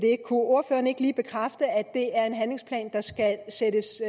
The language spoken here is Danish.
ordføreren ikke lige bekræfte at det er en handlingsplan der skal sættes